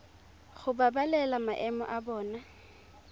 go babalela maemo a bona